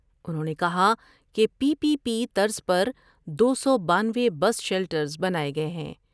انہوں نے کہا کہ پی پی پی طرز پر دو سو بانوے بس شیلٹرس بناۓ گئے ہیں ۔